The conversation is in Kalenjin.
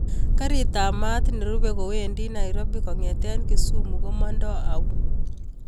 Karit ap maat nerupe kwendi nairobi kongeten kisumu ko mandaa au